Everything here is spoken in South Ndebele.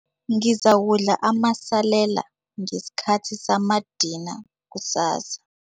Ngizakudla amasalela ngesikhathi samadina kusasa.